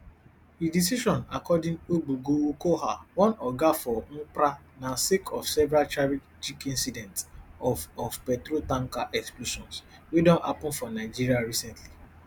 di decision according ogbugo ukoha one oga for nmdpra na sake of several tragic incidents of of petrol tanker explosions wey don happen for nigeria recently